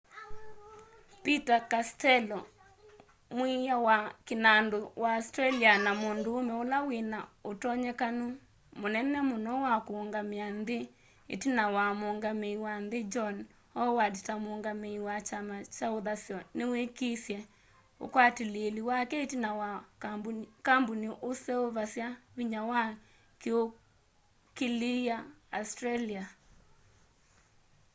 peter castello mwiiya wa kĩnandu wa australia na mũndũũme ũla wĩna ũtonyekano mũnene mũno wa kũũngamĩa nthĩ ĩtina wa muungamĩi wa nthĩ john howard ta mũũngamĩi wa kyama kya ũthasyo nĩwĩkisye ũkwatĩlĩĩli wake ĩtina wa kambũni ũseũvasya vinya wa kĩniũkĩlĩa australia